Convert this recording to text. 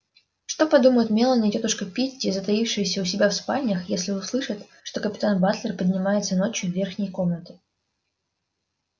что подумают мелани и тётушка питти затаившиеся у себя в спальнях если услышат что капитан батлер поднимается ночью в верхние комнаты